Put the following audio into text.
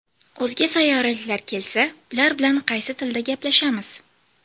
O‘zga sayyoraliklar kelsa, ular bilan qaysi tilda gaplashamiz?.